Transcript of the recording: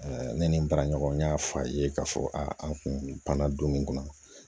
ne ni n baraɲɔgɔn n y'a fɔ a ye k'a fɔ a kun banna don min na